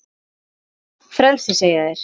Frelsi segja þeir.